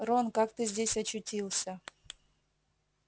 рон как ты здесь очутился